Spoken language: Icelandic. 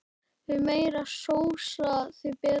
Því meiri sósa því betra.